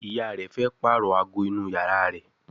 ìyá rẹ fe parọ àgọ inú iyàrá rẹ.